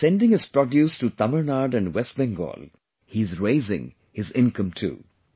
Now by sending his produce to Tamil Nadu and West Bengal he is raising his income also